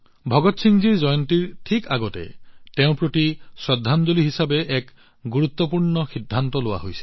ভগৎ সিংজীৰ জন্ম জয়ন্তীৰ ঠিক আগতে তেওঁৰ প্ৰতি শ্ৰদ্ধাঞ্জলি হিচাপে এক গুৰুত্বপূৰ্ণ সিদ্ধান্ত লোৱা হৈছে